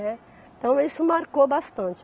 Né. Então isso marcou bastante.